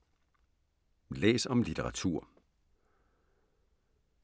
Læs om litteratur